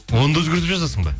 оны да өзгертіп жазасың ба